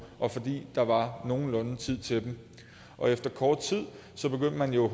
og fordi der var nogenlunde tid til dem og efter kort tid begyndte man jo at